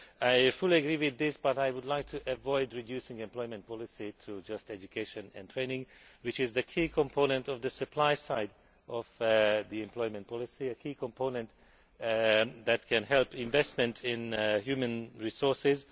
I fully agree with this, but I would like to avoid reducing employment policy to just education and training, which is the key component of the supply side of the employment policy, and a key component that can help investment in human resources.